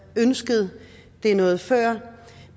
ønsket det noget før